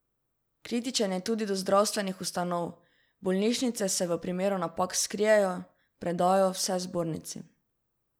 Kritičen je tudi do zdravstvenih ustanov: 'Bolnišnice se v primeru napak skrijejo, predajo vse zbornici.